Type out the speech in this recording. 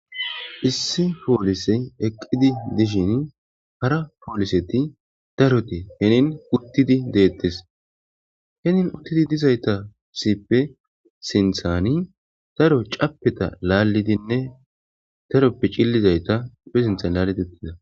issi poolise eqqidi dishin hara pooliseti darote henin uttidi deettes henin uttidi dizayta sippe sinthani taro capeta laallidinne daroppe cillizayta phe sintha laalidi uttida